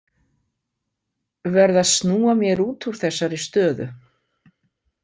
Verð að snúa mér út úr þessari stöðu.